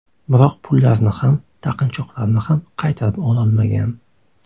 Biroq pullarni ham, taqinchoqlarni ham qaytarib ololmagan.